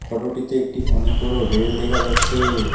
ফটোটিতে একটি অনেক বড় রেল দেখা যাচ্ছে।